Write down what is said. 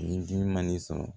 Ni ji ma ni sɔn